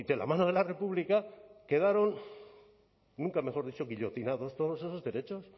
la mano de la república quedaron nunca mejor dicho guillotinados todos esos derechos